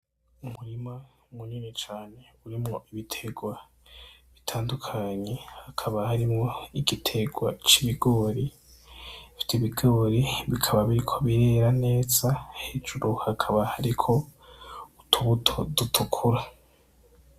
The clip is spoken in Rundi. Umurima munini cane urimwo ibitegwa bitandukanye hakaba harimwo igitegwa cibigori ivyo bigori bikaba biriko birera neza hejuru hakaba hariko utubuto dutukura.